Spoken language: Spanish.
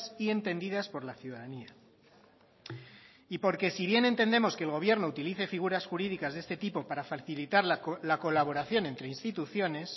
y entendidas por la ciudadanía y porque si bien entendemos que el gobierno utilice figuras jurídicas de este tipo para facilitar la colaboración entre instituciones